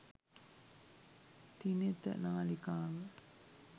තිනෙත නාලිකාව